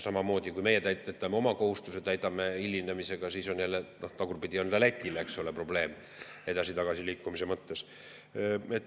Samamoodi, kui meie oma kohustusi täidame hilinemisega, siis on jälle, tagurpidi, ka Lätil probleem edasi-tagasi liikumise mõttes.